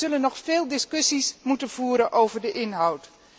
We zullen nog veel discussies moeten voeren over de inhoud.